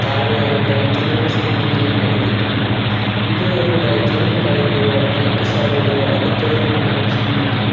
താഴെയായി dry cleaners എന്നിങ്ങനെയും എഴുതിയിട്ടുണ്ട് ഇത് ഒരു ഡ്രൈ ക്ലീനിങ്ങ് കടയുടെയോ അലക്ക് ശാലയുടെയോ അകത്തളം ആണെന്ന് സൂചിപ്പിക്കുന്നു.